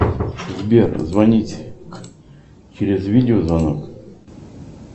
сбер звонить через видеозвонок